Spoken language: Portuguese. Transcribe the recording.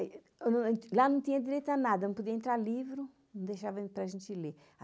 Lá não tinha direito a nada, não podia entrar livro, não deixavam para a gente ler.